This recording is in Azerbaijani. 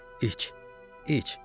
İç, iç.